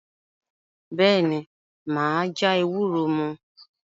Bẹ́ẹ̀ ni, mà á já ewúro mu.